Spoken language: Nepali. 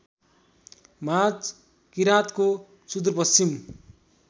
माझ किराँतको सुदूरपश्चिम